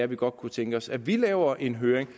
vi godt kunne tænke os at vi laver en høring